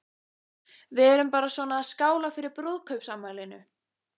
Við erum bara svona að skála fyrir brúðkaupsafmælinu.